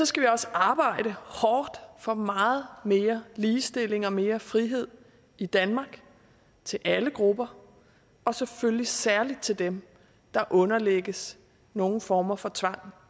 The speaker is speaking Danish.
skal vi også arbejde hårdt for meget mere ligestilling og mere frihed i danmark til alle grupper og selvfølgelig særlig til dem der underlægges nogen former for tvang